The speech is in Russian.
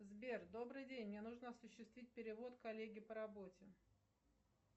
сбер добрый день мне нужно осуществить перевод коллеге по работе